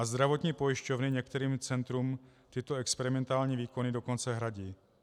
A zdravotní pojišťovny některým centrům tyto experimentální výkony dokonce hradí.